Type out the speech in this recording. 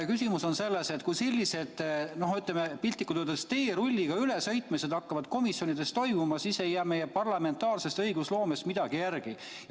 Küsimus on selles, et kui sellised piltlikult öeldes teerulliga ülesõitmised hakkavad komisjonides toimuma, siis ei jää meie parlamentaarsest õigusloomest midagi järele.